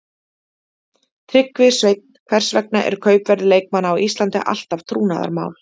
Tryggvi Sveinn Hvers vegna er kaupverð leikmanna á Íslandi alltaf trúnaðarmál.